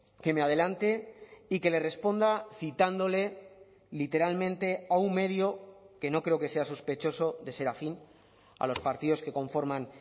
que me adelante y que le responda citándole literalmente a un medio que no creo que sea sospechoso de ser afín a los partidos que conforman